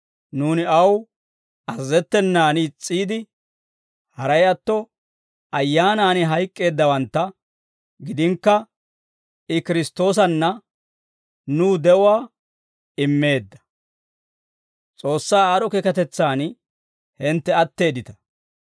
Nuuni aw azazettenan is's'iide, haray atto ayyaanan hayk'k'eeddawantta gidinakka, I Kiristtoosanna nuw de'uwaa immeedda. S'oossaa aad'd'o keekatetsan hintte atteeddita.